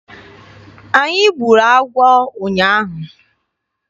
Anyị gburu agwọ ụnyaahụ.